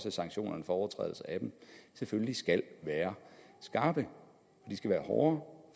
at sanktionerne for overtrædelse af dem selvfølgelig skal være skarpe de skal være hårde